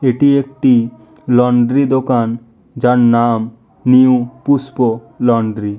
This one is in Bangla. এটি একটি লন্ড্রি দোকান যার নাম নিউ পুস্প লন্ড্রি ।